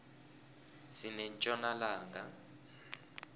sinetjona langa